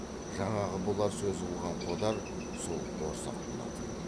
жаңағы бұлар сөз қылған қодар сол борсақ болатын